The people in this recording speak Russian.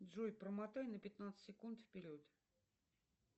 джой промотай на пятнадцать секунд вперед